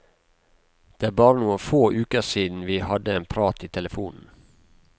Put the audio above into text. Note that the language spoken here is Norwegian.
Det er bare noen få uker siden vi hadde en prat i telefonen.